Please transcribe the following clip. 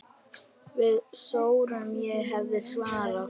Við sórum, ég hef svarið.